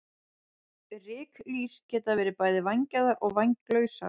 Ryklýs geta verið bæði vængjaðar og vænglausar.